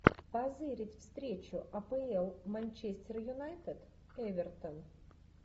позырить встречу апл манчестер юнайтед эвертон